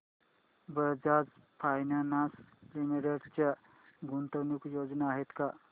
Bajaj finance limited च्या गुंतवणूक योजना आहेत का